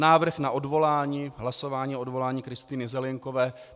Návrh na odvolání, hlasování o odvolání Kristýny Zelienkové.